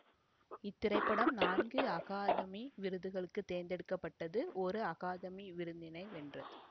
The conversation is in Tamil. இத்திரைப்படம் நான்கு அகாதமி விருதுகளுக்கு தேர்ந்தெடுக்க பட்டது ஒரு அகாதமி விருதினை வென்றது